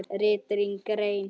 RITRÝND GREIN